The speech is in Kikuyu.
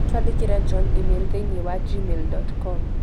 Twandĩkĩre John e-mail thĩinĩ wa gmail dot com